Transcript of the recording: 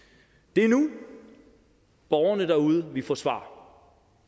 det er nu borgerne derude vi forsvarer